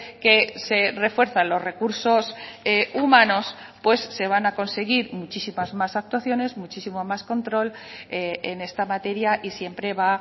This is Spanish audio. que se refuerzan los recursos humanos pues se van a conseguir muchísimas más actuaciones muchísimo más control en esta materia y siempre va